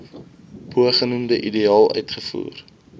bogenoemde ideaal uitgevoer